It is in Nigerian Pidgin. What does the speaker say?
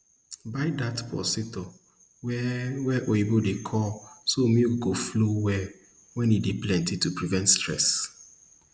buy dat pulsator wey wey oyibo dey call so milk go flow well wen e dey plenty to prevent stress